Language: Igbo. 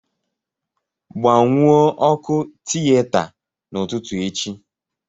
Gbanwuo ọkụ tiyeta n'ụtụtụ echi